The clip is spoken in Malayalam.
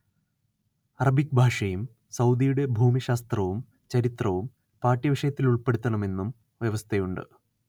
അറബിക് ഭാഷയും സൗദിയുടെ ഭൂമിശാസ്ത്രവും ചരിത്രവും പാഠ്യവിഷയത്തിലുൾപ്പെടുത്തണമെന്നും വ്യവസ്ഥയുണ്ട്